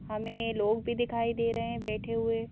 हमे लोग भी दिखाई दे रहे है बैठे हुए।